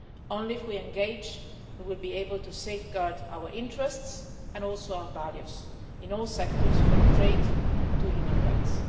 Only if we engage will we be able to safeguard our interests and also our values in all sectors from trade to human rights.